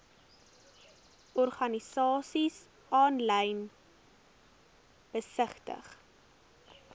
organisasies aanlyn besigtig